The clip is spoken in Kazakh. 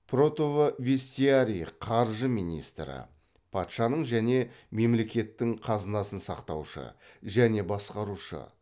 протовестиарий қаржы министрі патшаның және мемлекеттің қазынасын сақтаушы және басқарушы